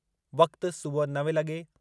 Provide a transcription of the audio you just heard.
वक़्तु: सुबुह नव लगे॒